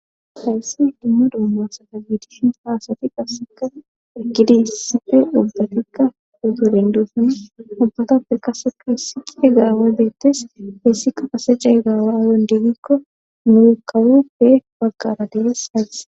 hayssi dumma doommasada biidishin haasati qasseka ikidi hissife ubbatikka uzorenduosni ubbatappe qasepu hissihe gaamo deettes heessika ase cayy gaawa aayon diigikko nuu kawofe baggara dires hayis